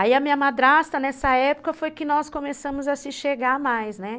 Aí a minha madrasta, nessa época, foi que nós começamos a se chegar mais, né?